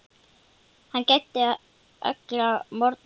Hann gæddi alla morgna lífi.